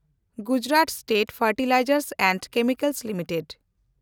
Gujarat state fertilizers and chemicals limited